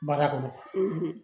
Baara kɔnɔ